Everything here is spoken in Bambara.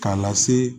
K'a lase